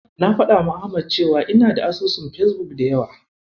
Na faɗawa Ahmad cewa ina da asusun Fesbuk da yawa.